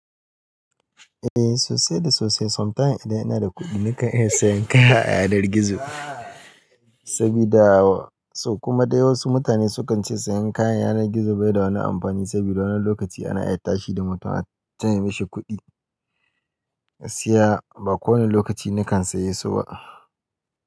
Eh sosai da sosai. Somatime idan ina da kuɗi nakan iya sayan kaya a yanar gizo. Sabida so kuma dai wasu mutane sukan ce sayan kayan yanar gizo bai da wani amfani sabida wani lokaci ana iya tashi da mutum accanye mashi kuɗi. Tiya ba kowane lokaci nakan siye su ba.